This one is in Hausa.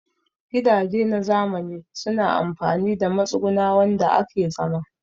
Gidaje na zamani suna amfani da matsuguna wanda ake zama